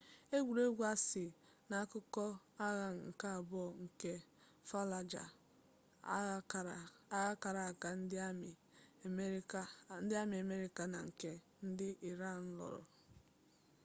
egwuregwu a si n'akụkọ agha nke abụọ nke fallujah agha kara aka ndị amị amerịka na nke ndị iran lụrụ